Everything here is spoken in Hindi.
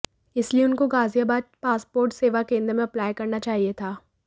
इसलिए उनको गाजियाबाद पासपोर्ट सेवा केंद्र में अप्लाई करना चाहिए था